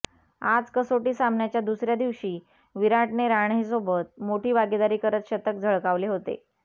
आज कसोटी सामन्याच्या दुसऱ्या दिवशी विराटने रहाणेसोबत मोठी भागीदारी करत शतक झळकावले होते